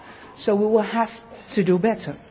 So we will have to do better.